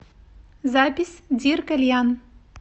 запись диркальян